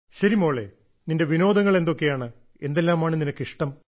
ശരി മോളെ നിന്റെ വിനോദങ്ങൾ എന്തൊക്കെയാണ് എന്തെല്ലാമാണ് നിനക്ക് ഇഷ്ടം